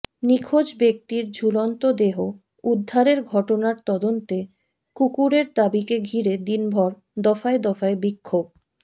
নিখোঁজ ব্যক্তির ঝুলন্ত দেহ উদ্ধারের ঘটনার তদন্তে কুকুরের দাবিকে ঘিরে দিনভর দফায় দফায় বিক্ষোভ